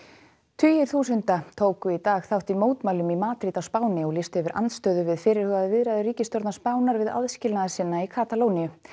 tugir þúsunda tóku í dag þátt í mótmælum í Madríd á Spáni til að lýsa yfir andstöðu við fyrirhugaðar viðræður ríkisstjórnar Spánar við aðskilnaðarsinna í Katalóníu